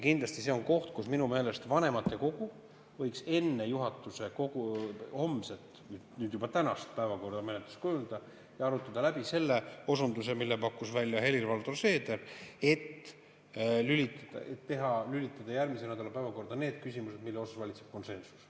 Kindlasti on see koht, kus vanematekogu võiks minu meelest enne juhatuse homset – nüüd juba tänast – päevakorra menetlust kujundada ja arutada läbi selle osunduse, mille pakkus välja Helir-Valdor Seeder, et lülitada järgmise nädala päevakorda need küsimused, mille suhtes valitseb konsensus.